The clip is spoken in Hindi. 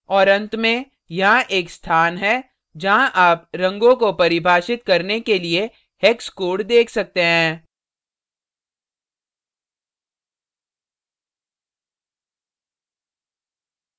और and में यहाँ एक स्थान है जहाँ आप रंगों को परिभाषित करने के लिए hex code hex code देख सकते हैं